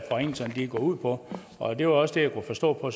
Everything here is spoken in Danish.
forringelserne går ud på det var også det jeg kunne forstå på